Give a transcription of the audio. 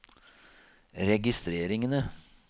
registreringene